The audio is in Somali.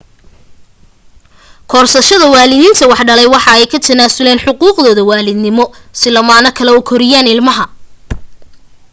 korsashada waalidiintii wax dhalay waxay ka tanaasulaan xuquuqdooda waalidnimo si lamaane kale u koriyaan ilmaha